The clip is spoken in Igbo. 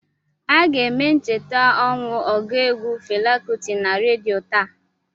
Aga eme ncheta ọnwụ ọgụ egwu Fela Kuti na redio taa